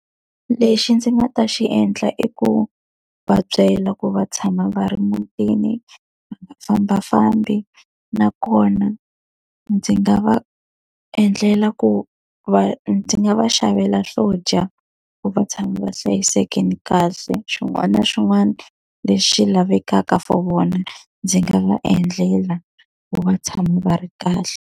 Lexi ndzi nga ta xi endla i ku va byela ku va tshama va ri mutini, va nga fambafambi. Nakona ndzi nga va endlela ku va ndzi nga va xavela swo dya ku va tshama va hlayisekile kahle. Swin'wana na swin'wana lexi lavekaka for vona ndzi nga va endlela vo va tshama va ri kahle.